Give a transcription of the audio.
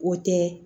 O tɛ